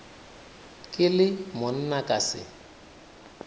ke le monna ka se